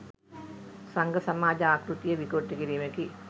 සංඝ සමාජ ආකෘතිය විකෘති කිරීමකි